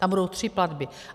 Tam budou tři platby.